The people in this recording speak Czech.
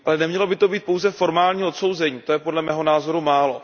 Ale nemělo by to být pouze formální odsouzení, to je, podle mého názoru, málo.